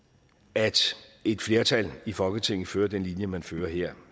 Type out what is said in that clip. at et flertal i folketinget fører den linje man fører her